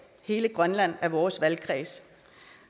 hele grønland er vores valgkreds